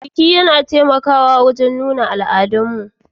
Bikin yana taimakawa wajen nuna al'adunmu masu albarka